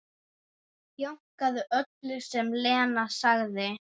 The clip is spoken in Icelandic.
Jánkaði öllu sem Lena sagði.